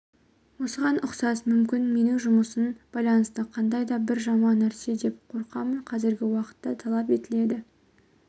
осыған ұқсас мүмкін менің жұмысын байланысты қандайда бір жаман нәрсе деп қорқамын қазіргі уақытта талап етіледі